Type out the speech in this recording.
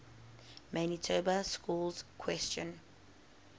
manitoba schools question